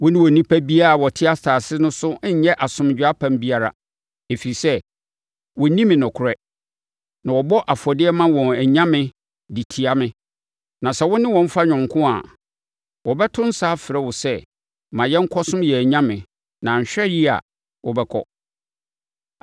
“Wone onipa biara a ɔte asase no so nnyɛ asomdwoeɛ apam biara, ɛfiri sɛ, wɔnni me nokorɛ, na wɔbɔ afɔdeɛ ma wɔn anyame de tia me. Sɛ wo ne wɔn fa yɔnko a, wɔbɛto nsa afrɛ wo sɛ ma yɛnkɔsom yɛn anyame na anhwɛ yie a, wobɛkɔ.